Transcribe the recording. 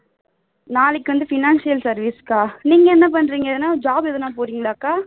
நாளைக்கு வந்து financial service அக்கா நீங்க என்ன பண்றிங்க எதுனா job எதுனா போறீங்களா அக்கா